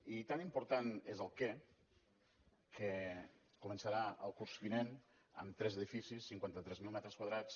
i tan important és el què que començarà el curs vinent amb tres edificis cinquanta tres mil metres quadrats